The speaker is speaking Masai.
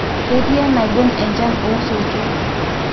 ketii enaibon enchan osoitok